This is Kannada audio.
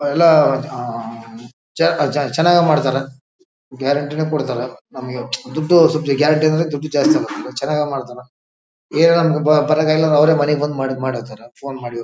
ಎಲ್ಲ ಆಹ್ಹ್ ಚೆನ್ನಾಗಿ ಮಾಡ್ತಾರಾ ಗ್ಯಾರೆಂಟಿ ನು ಕೊಡ್ತಾರಾ ನಮಗೆ ದುಡ್ಡು ಗ್ಯಾರೆಂಟಿ ಅಂದ್ರೆ ದುಡ್ಡು ಜಾಸ್ತಿ ತಕೊಂತರ ಚೆನ್ನಾಗಿ ಮಾಡ್ತಾರಾ ಬರಾಕ್ ಆಗಿಲ್ಲ ಅಂದ್ರೆ ಅವ್ರೆ ಮನೆಗ್ ಬಂದ್ ಮಾಡಕ್ ಹತಾರ ಫೋನ್ ಮಾಡಿ --